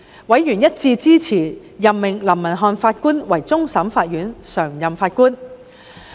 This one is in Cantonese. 委員一致支持任命林文瀚法官為終審法院常任法官。